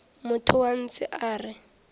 motho wa ntshe a re